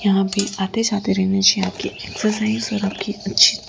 यहाँ पे आते जाते रहना चाहिए आपकी एक्सरसाइज और आपकी अच्छी--